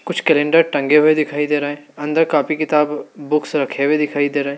कुछ कैलेंडर टंगे हुए दिखाई दे रहे अंदर कॉपी किताब बुक्स रखे हुए दिखाई दे रहे --